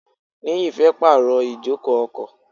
Niyi fẹ́ pàrọ̀ ijoko ọkọ̀.